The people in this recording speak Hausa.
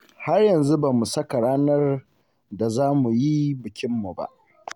Har yanzu ba mu saka ranar da za mu yi bikinmu ba.